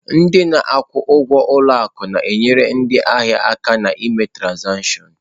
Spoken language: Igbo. Ndị na-akwụ ụgwọ ụlọ akụ na-enyere ndị ahịa aka ná ime trazatịọṅ.